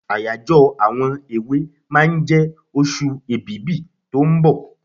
Àyájọ́ àwọn èwe máa jẹ oṣù Èbìbí tó ń bọ̀.